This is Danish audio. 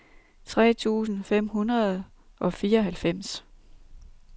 tre tusind fem hundrede og fireoghalvfems